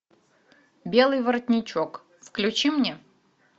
белый воротничок включи мне